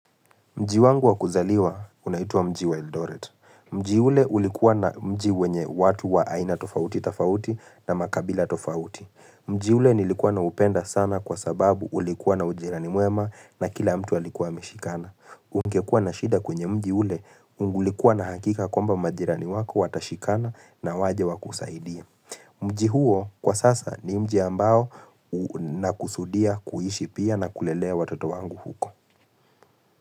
Mji wangu wa kuzaliwa unaituwa mji wa Eldoret. Mji ule ulikuwa na mji wenye watu wa aina tofauti tofauti na makabila tofauti. Mji ule nilikuwa na upenda sana kwa sababu ulikuwa na ujirani mwema na kila mtu alikuwa ameshikana. Ungekua na shida kwenye mji ule ulikuwa na hakika kwamba majirani wako watashikana na waje wa kusaidie. Mji huo kwa sasa ni mji ambao na kusudia kuishi pia na kulelea watoto wangu huko.